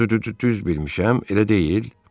Düz bilmişəm, elə deyil?